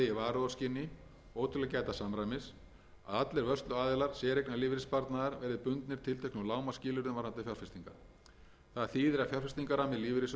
varúðarskyni og til að gæta samræmis að allir vörsluaðilar séreignarlífeyrissparnaðar verði bundnir tilteknum lágmarksskilyrðum varðandi fjárfestingar það þýðir að fjárfestingarammi lífeyrissjóða gagnvart séreignarsparnaði verður rýmri frá því sem er í